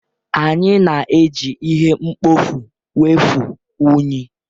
Anyị na-eji ihe mkpofu wụfuo unyi.